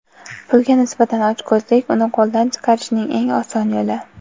Pulga nisbatan ochko‘zlik — uni qo‘ldan chiqarishning eng oson yo‘li.